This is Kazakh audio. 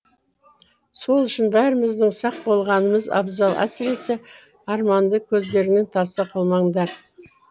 сол үшін бәріміздің сақ болғанымыз абзал әсіресе арманды көздеріңнен таса қылмаңдар